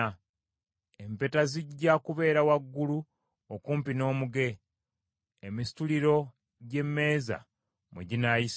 Empeta zijja kubeera waggulu okumpi n’omuge, emisituliro gy’emmeeza mwe ginaayisibwa.